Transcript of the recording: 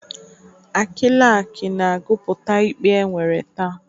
Akịlakị na-agụpụta ikpe e nwere taa.